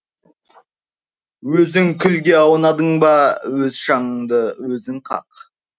өзің күлге аунадың ба өз шаңыңды өзің қақ